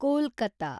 Kolkata